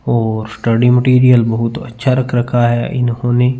और study material बहुत अच्छा रखा है इन्होने।